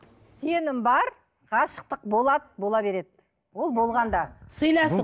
сенім бар ғашықтық болады бола береді ол болған да сыйластық